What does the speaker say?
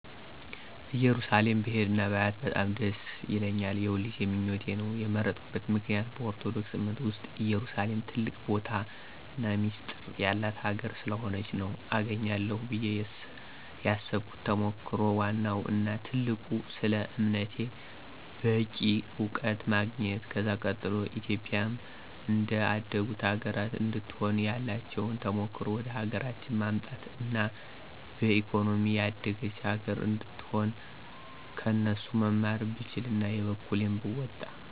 እየሩሳሌም ብሄድ እና ባያት በጣም ደስ ይለኛል። የሁልጊዜ ምኞቴ ነው። የመረጥኩበት ምክንያት በኦርቶዶክስ አምነት ዉስጥ ኢየሩሳሌም ትልቅ ቦታና ሚስጢር የላት ሀገር ስለሆነች ነው። አገኛለሁ ብየ የሰብኩት ተሞክሮ ወዋናው እና ትልቁ ስለ አምነቴ በቂ አዉቀት ማግኝት። ከዛ ቀጥሎ ኢትዮጵያም እንደ አደጉት ሀገራት እንድትሆን ያላቸዉን ተሞክሮ ወደሀገራችን ማምጣት አና በኢኮኖሚም የደገች ሀገር አነድትሆን ከነሱ መማር ብችል አና የበኩሌን ብወጣ።